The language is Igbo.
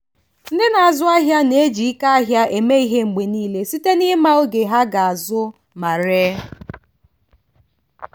ndị na-azụ ahịa na-eji ike ahịa eme ihe mgbe niile site n'ịma oge ha ga-azụ ma ree.